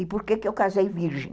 E por que eu casei virgem.